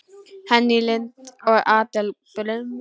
Henný Lind og Adel Brimir.